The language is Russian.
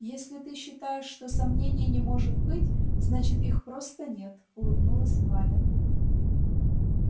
если ты считаешь что сомнений не может быть значит их просто нет улыбнулась валя